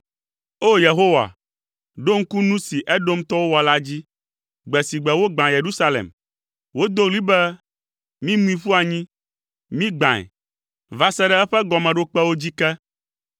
O! Yehowa, ɖo ŋku nu si Edomtɔwo wɔ la dzi, gbe si gbe wogbã Yerusalem. Wodo ɣli be, “Mimui ƒu anyi, migbãe, va se ɖe eƒe gɔmeɖokpewo dzi ke!”